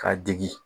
K'a degi